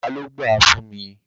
Bàbá ló gbáà fún mi.